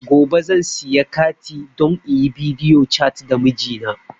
Gobe zan siya kati don inyi bidiyo cat da mijina